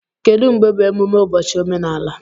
Kedụ mgbe bụ emume ụbọchị omenala?